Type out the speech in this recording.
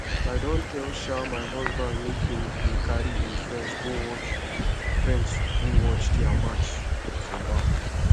i don tell um my husband make he dey carry im friends go watch friends go watch their football match for bar